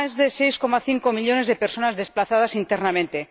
más de 6,5 millones de personas desplazadas internamente